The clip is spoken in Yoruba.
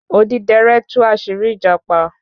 Odidẹrẹ́ tú àṣírí ìjàpá